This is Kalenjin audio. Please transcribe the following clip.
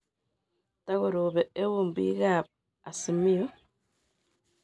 Takoropee euun biik ab Azimio